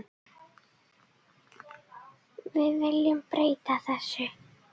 Við viljum breyta þessu.